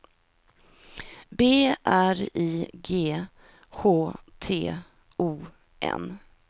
B R I G H T O N